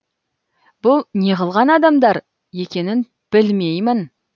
бұл неғылған адамдар екенін білмеймін